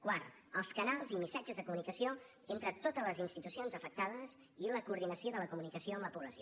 quart els canals i missatges de comunicació entre totes les institucions afectades i la coordinació de la comunicació amb la població